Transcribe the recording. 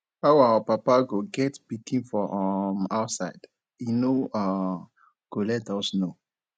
how our papa go get pikin for um outside he no um go let us know